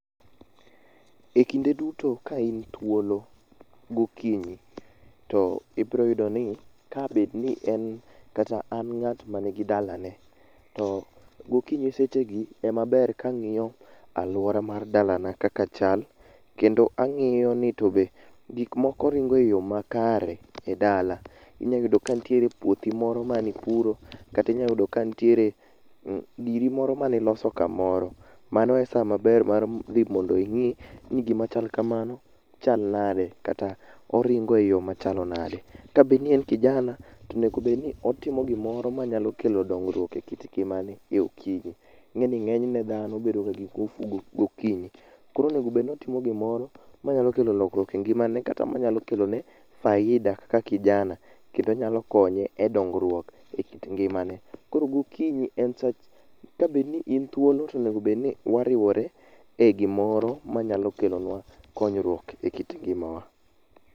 Ekinde duto kain thuolo gokinyi to ibiro yudo ni kabed ni en kata an ng'at man gi dalane. To gokinyi sechegi emaber ka ang'iyo aluora mar dalana kaka chal. Kendo ang'iyo ni to be gik moko ringo eyo makare edala. Inya yudo ka nitie puothi moro manipuro, kata inya yudo ni nitiere giri moro maniloso kamoro. Mano esamaber mar dhi mondo ing'i ni gima chal kamano chal nade, kata oringo eyoo machalo nade. Kabed ni en kijana to onego bed ni otimo gimoro manyalo kelo dongruok ekit ngimane eokinyi. Ing'e ni ng'enyne dhano bedoga gi ngufu gokinyi. Koro onego bedni otimo gimoro manyalo kelo lokruok e ngimane kata manyalo kelone faida kaka kijana kendo nyalo konye e dongruok ekit ngimane. Koro gokinyi en saa ka bedni in thuolo to onego bed ni wariwre egimoro ma nyalo kelonwa konyruok ekit ngimawa.